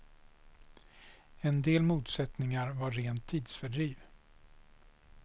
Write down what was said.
En del motsättningar var rent tidsfördriv.